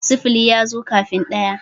sifili ya zo kafin ɗaya